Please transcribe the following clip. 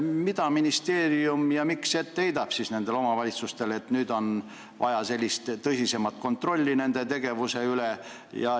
Mida heidab siis ministeerium ette nendele omavalitsustele, et nüüd on vaja sellist tõsisemat kontrolli nende tegevuse üle?